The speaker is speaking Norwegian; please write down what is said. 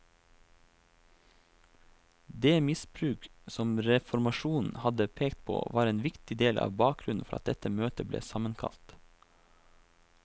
Det misbruk som reformasjonen hadde pekt på var en viktig del av bakgrunnen for at dette møtet ble sammenkalt.